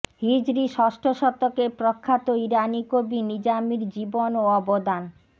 হিজরি ষষ্ঠ শতকের প্রখ্যাত ইরানি কবি নিজামির জীবন ও অবদান